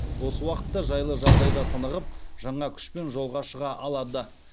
осы уақытта жайлы жағдайда тынығып жаңа күшпен жолға шыға алады